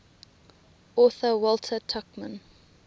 author walter tuchman